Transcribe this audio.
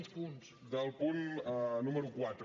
del punt número quatre